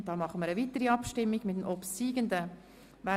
Deshalb machen wir eine weitere Abstimmung über den obsiegenden Antrag.